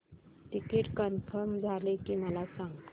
ticket confirm झाले की मला सांग